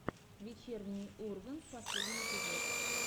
вечерний ургант последний эпизод